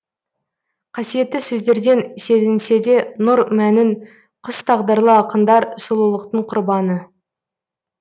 қасиетті сөздерден сезінседе нұр мәнін құс тағдырлы ақындар сұлулықтың құрбаны